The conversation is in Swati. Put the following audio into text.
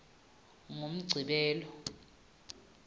ngumgcibelo